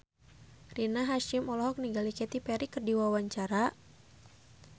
Rina Hasyim olohok ningali Katy Perry keur diwawancara